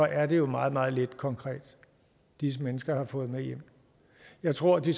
er det jo meget meget lidt konkret disse mennesker har fået med hjem jeg tror de